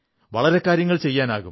വളരെ കാര്യങ്ങൾ ചെയ്യാനാകും